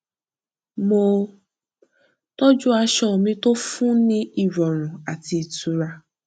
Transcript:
mo tọjú aṣọ mi tó fún ní ìrọrùn àti itura